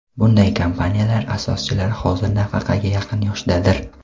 Bunday kompaniyalar asoschilari hozir nafaqaga yaqin yoshdadir.